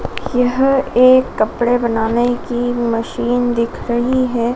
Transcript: यह एक कपड़े बनाने की मशीन दिख रही है।